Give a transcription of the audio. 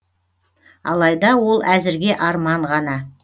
алайда ол әзірге арман ғана